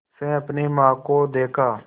से अपनी माँ को देखा